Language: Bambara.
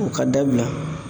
O ka dabila